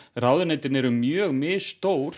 ráðuneytin eru mjög misstór